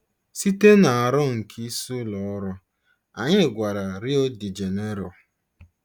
Site na aro nke isi ụlọ ọrụ, anyị gawara Rio de Janeiro.